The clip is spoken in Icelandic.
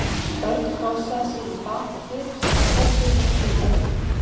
Örn krossaði sig í bak og fyrir þegar Tóti fór að príla upp.